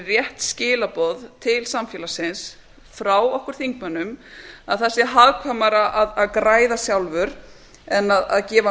rétt skilaboð til samfélagsins frá okkur þingmönnum að það sé hagkvæmara að græða sjálfur en að gefa